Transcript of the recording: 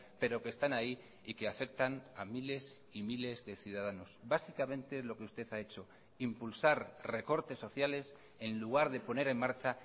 pero que están ahí y que afectan a miles y miles de ciudadanos básicamente lo que usted ha hecho impulsar recortes sociales en lugar de poner en marcha